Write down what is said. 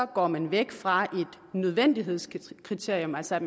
går man væk fra et nødvendighedskriterium altså at